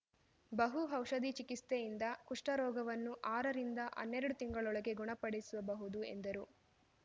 ಬಹು ಔಷಧಿಚಿಕಿತ್ಸೆಯಿಂದ ಕುಷ್ಠರೋಗವನ್ನು ಆರರಿಂದ ಹನ್ನೆರಡು ತಿಂಗಳೊಳಗೆ ಗುಣಪಡಿಸುಬಹುದು ಎಂದರು